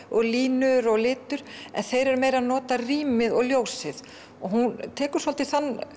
og línur og litur en þeir eru meira að nota rýmið og ljósið hún tekur svolítið